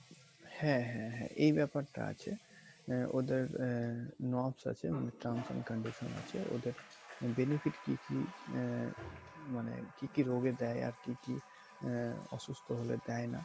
হ্যাঁ হ্যাঁ হ্যাঁ এই ব্যাপারটা আছে আহ ওদের আহ আছে মানে terms and conditions আছে ওদের benefit কী কী আহ মানে কী কী রোগের যায় আর কী কী আহ অসুস্থ হলে দেয় না।